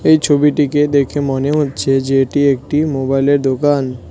এই ছবিটিকে দেখে মনে হচ্ছে যে এটি একটি মোবাইলের দোকান।